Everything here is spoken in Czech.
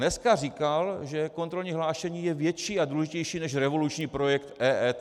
Dneska říkal, že kontrolní hlášení je větší a důležitější než revoluční projekt EET.